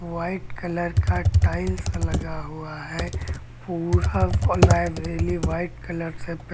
white colour का tiles लगा हुआ है पूरा लाइब्रेरी व्हाइट कलर से पे--